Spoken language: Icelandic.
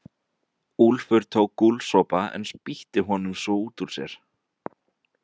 Úlfur tók gúlsopa en spýtti honum svo út úr sér.